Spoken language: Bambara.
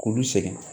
K'ulu segin